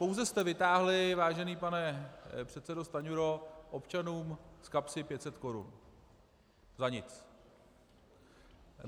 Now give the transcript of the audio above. Pouze jste vytáhli, vážený pane předsedo Stanjuro, občanům z kapsy 500 korun za nic.